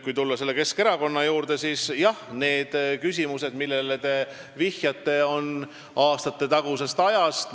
Kui Keskerakonna juurde tulla, siis need küsimused, millele te vihjate, pärinevad aastatetagusest ajast.